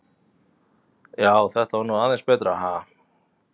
Já, þetta var nú aðeins betra, ha!